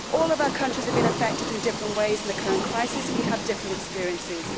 All of our countries have been affected in different ways in the current crisis and we have different experiences.